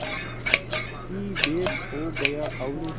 की भेंट हो गया और